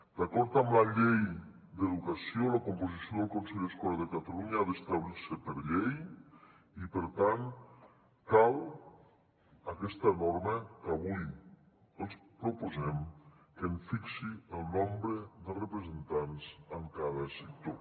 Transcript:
d’acord amb la llei d’educació la composició del consell escolar de catalunya ha d’establir se per llei i per tant cal aquesta norma que avui els proposem que en fixi el nombre de representants en cada sector